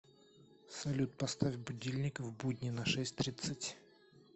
салют поставь будильник в будни на шесть тридцать